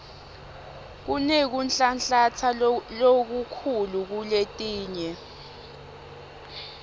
kunekunhlanhlatsa lokukhulu kuletinye